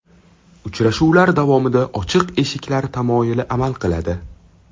Uchrashuvlar davomida ochiq eshiklar tamoyili amal qiladi.